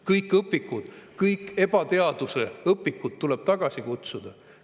Kõik õpikud, kõik ebateaduse õpikud tuleb tagasi kutsuda.